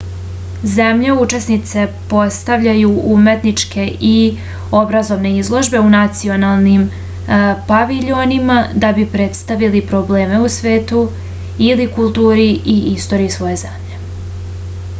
zemlje učesnice postavljaju umetničke i obrazovne izložbe u nacionalnim paviljonima da bi predstavili probleme u svetu ili kulturu i istoriju svoje zemlje